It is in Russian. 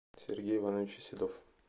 сергей иванович седов